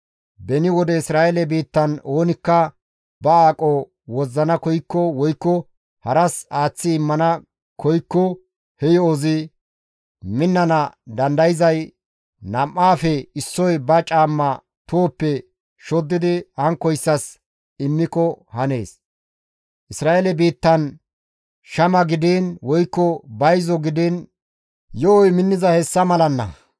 Beni wode Isra7eele biittan oonikka ba aqo wozzana koykko woykko haras aaththi immana koykko he yo7ozi minnana dandayzay nam7aafe issoy ba caamma tohoppe shoddidi hankkoyssas immiko hanees. Isra7eele biittan shama gidiin woykko bayzo gidiin yo7oy minnizay hessa malanna.